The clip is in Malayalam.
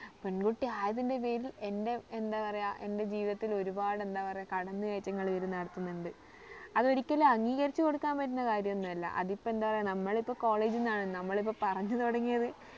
പെൺകുട്ടി ആയതിന്റെ പേരിൽ എന്റെ എന്താ പറയാ എന്റെ ജീവിതത്തിൽ ഒരുപാടു എന്താ പറയാ കടന്നു കയറ്റങ്ങൾ ഇവര് നടത്തുന്നുണ്ട് അത് ഒരിക്കലും അംഗീകരിച്ച് കൊടുക്കാൻ പറ്റുന്ന കാര്യം ഒന്നുമല്ല അതിപ്പോ എന്താ പറയാ നമ്മൾ ഇപ്പൊ college ന്നാണ് നമ്മൾ ഇപ്പൊ പറഞ്ഞു തുടങ്ങിയത്